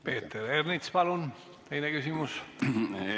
Peeter Ernits, palun teine küsimus!